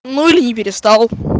ну или не перестал